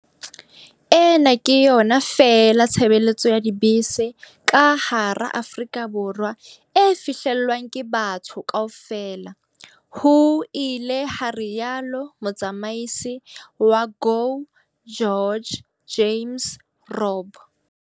"Ena ke yona feela tshebeletso ya dibese ka hara Aforika Borwa e fihlellwang ke batho kaofela," ho ile ha rialo motsamisi wa GO GEORGE James Robb.